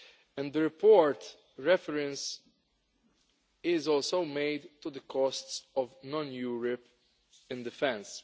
In the report, reference is also made to the costs of non European defence.